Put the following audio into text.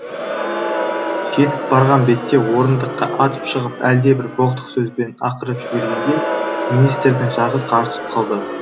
жетіп барған бетте орындыққа атып шығып әлдебір боқтық сөзбен ақырып жібергенде министрдің жағы қарысып қалды